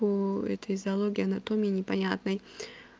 по этой зоологии анатомии непонятной